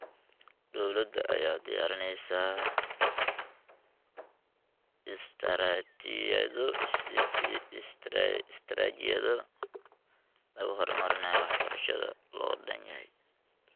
Dowladda ayaa diyaarinaysa istaraatiijiyado lagu horumarinayo waxbarashada loo dhan yahay.